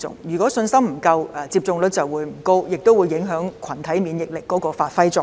如果信心不足，接種率就會不高，更會影響群體免疫力發揮作用。